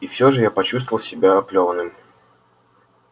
и все же я почувствовал себя оплёванным